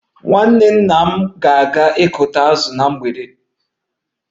Nwanne nna m ga-aga ịkụ azụ na mgbede a